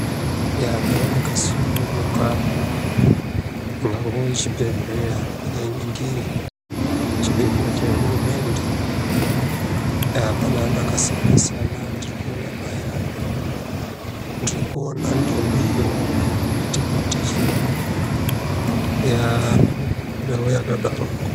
Iya ndau vakasungunguka ingangove chibhehleya ndakainingire. Chibhehlera chehurumende. Eya pane antu akasiyana-siyana. Ndirikuona ndombi iyo yakabate chii, ndau yadaroko.